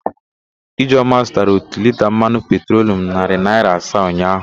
Ijeọma zụtara ótù liita mmanụ petrolu narị naịra asaa ụnyaahụ.